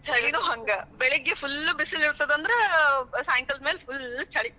ಛಳೀನೂ ಹಂಗ, ಬೆಳಗ್ಗೆ full ಬಿಸಿಲ ಇರತದ ಅಂದ್ರ ಸಾಯಂಕಾಲದ್ ಮೇಲ full ಛಳಿ. .